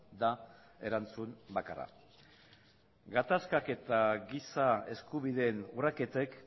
da erantzun bakarra gatazkak eta giza eskubideen urraketek